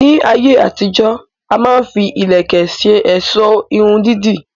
Ní ayé àtijó, a má ń fi ìlẹ̀kẹ̀ ṣe ọ̀sọ́ Irun dídì